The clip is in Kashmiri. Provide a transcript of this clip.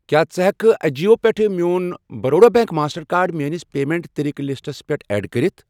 کیٛاہ ژٕ ہٮ۪کہِ کھہ اَجِیو پٮ۪ٹھ میون بَروڈا بیٚنٛک ماسٹر کارڈ میٲنِس پیمنٹ طٔریٖقہٕ لِسٹَس پٮ۪ٹھ ایڈ کٔرِتھ؟